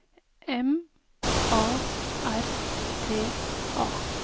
M A R T A